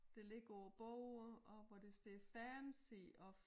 Det ligger på bordet og hvor der står fancy of